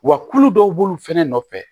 Wa kulu dɔw b'olu fɛnɛ nɔfɛ